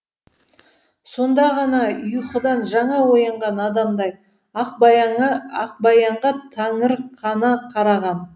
сонда ғана ұйқыдан жаңа оянған адамдай ақбаянға таңырқана қарағам